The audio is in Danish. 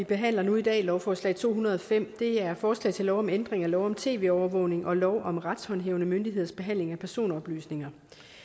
vi behandler nu i dag lovforslag to hundrede og fem er forslag til lov om ændring af lov om tv overvågning og lov om retshåndhævende myndigheders behandling af personoplysninger